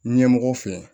Ɲɛmɔgɔw fɛ